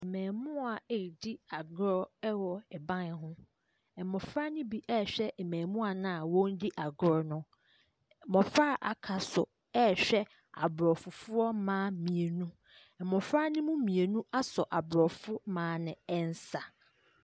Mmaamua ɛredi agorɔ wɔ ban ho. Mmɔfra ne bi ɛrehwɛ mmaamua no a wɔredi agorɔ no. Mmɔfra a aka nso ɛrehwɛ aborɔfo mmaa mmienu. Mmɔfra ne mu mmienu asɔ aborɔfo mmaa no nsa.